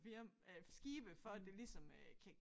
Firm øh skibe for at det ligesom øh kan